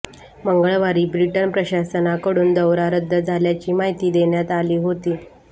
मंगळवारी ब्रिटन प्रशासनाकडून दौरा रद्द झाल्याची माहिती देण्यात आली होती